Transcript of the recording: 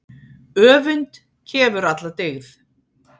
Öfund kefur alla dyggð.